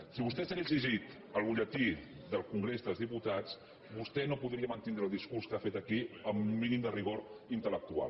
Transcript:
si vostè s’hagués llegit el butlletí del congrés dels diputats vostè no podria mantenir el discurs que ha fet aquí amb un mínim de rigor intel·lectual